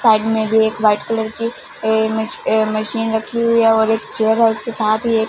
side में भी एक व्हाइट कलर की ये मश ये मशीन रखी हुई है और एक चेयर है उसके साथ ही एक --